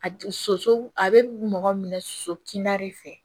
A soso a bɛ mɔgɔ minɛ soso kinda de fɛ